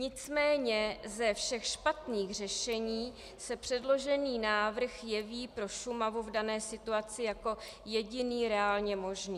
Nicméně ze všech špatných řešení se předložený návrh jeví pro Šumavu v dané situaci jako jediný reálně možný.